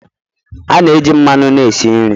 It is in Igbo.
A na-eji mmanụ na-esi nri